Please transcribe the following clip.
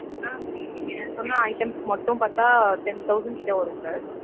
ஆஹ் sir நீங்க சொன்ன items மட்டும் பாத்தா ten thousand கிட்ட வரும் sir.